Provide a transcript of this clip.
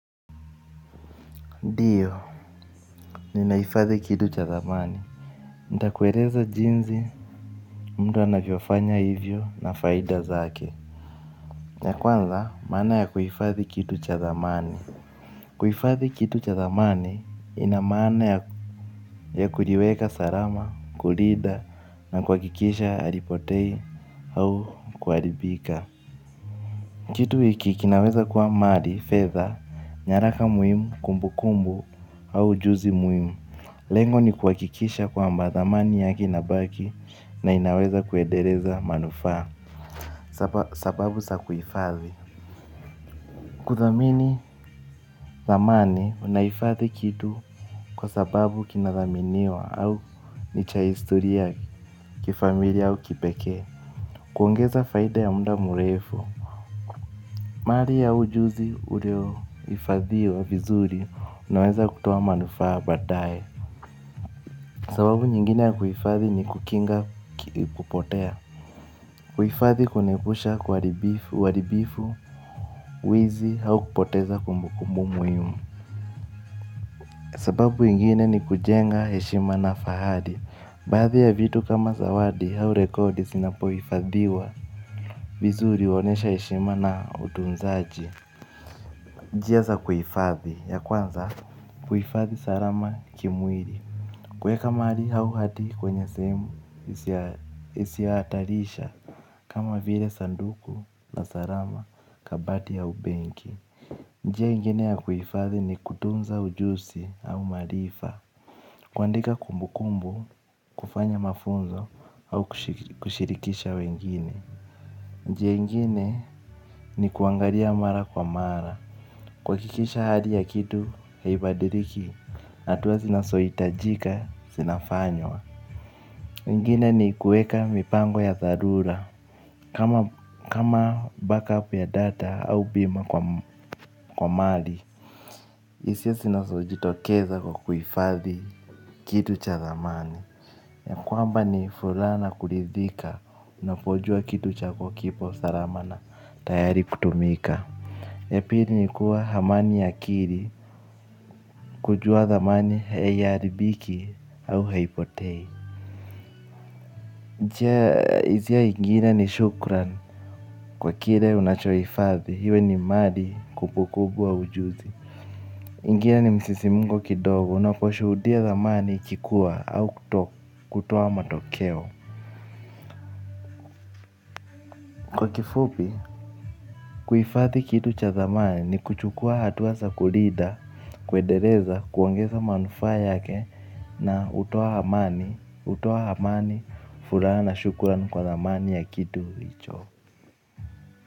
Ndio, ninahifadhi kitu cha thamani. Nitakueleza jinsi mtu anavyofanya hivyo na faida zake. Ya kwanza, maana ya kuhifathi kitu cha thamani. Kuhifadhi kitu cha thamani, ina maana ya kuliweka salama, kulinda, na kwa kuhakikisha halipotei au kuharibika. Kitu hiki kinaweza kwa mali, fedha, nyaraka muhimu, kumbu kumbu, au ujuzi muhimu. Lengo ni kuhakikisha kwamba thamani yake inabaki na inaweza kuendeleza manufaa. Sababu za kuhifadhi. Kuthamini thamani unajifadhi kitu kwa sababu kinathaminiwa au ni cha historia ya kifamilia au kipekee. Kuongeza faida ya muda mrefu. Mali au ujuzi ulio hifadhiwa vizuri unaweza kutoa manufaa baadaye. Sababu nyingine ya kuhifadhi ni kukinga kupotea. Kuhifadhi kunaepusha uharibifu, wizi au kupoteza kumbukumbu muhimu. Sababu ingine ni kujenga heshima na fahari. Baadhi ya vitu kama zawadi au rekodi zinapo hifadhiwa vizuri huonyesha heshima na utunzaji. Njia za kuhifadhi, ya kwanza. Kuhifadhi salama kimwili. Kuweka mali au hadi kwenye sehemu isiyo hatarisha kama vile sanduku la salama, kabati au benki. Njia ingine ya kuhifadhi ni kutunza ujuzi au maarifa. Kuandika kumbu kumbu, kufanya mafunzo au kushirikisha wengine. Njia ingine ni kuangalia mara kwa mara. Kuhakikisha hali ya kitu haibadiliki, hatua zinazo hitajika, zinafanywa imgine ni kuweka mipango ya dharura. Kama back up ya data au bima kwa mali. Hisia zinazo jitokeza kwa kuhifadhi kitu cha thamani kwamba ni furaha na kuridhika. Unapojua kitu chako kipo salama na tayari kutumika. Ya pili nikuwa amani ya akili kujua thamani haiharibiki au haipotei. Njia nyingine ni shukran kwa kile unacho hifadhi, iwe ni mali, kumbu kumbu au ujuzi. Ingine ni msisimko kidogo. Unapi shuhudia thamani ikikuwa au kutoka kutoa matokeo. Kwa kifupi. Kuhifadhi kitu cha thamani ni kuchukua hatua za kulinda kuendeleza, kuongeza manufaa yake na hutoa amani. Furaha na shukuran kwa thamani ya kitu hicho.